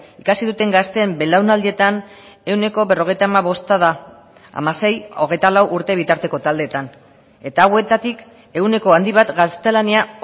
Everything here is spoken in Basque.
ikasi duten gazteen belaunaldietan ehuneko berrogeita hamabosta da hamasei hogeita lau urte bitarteko taldeetan eta hauetatik ehuneko handi bat gaztelania